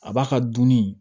A b'a ka dunni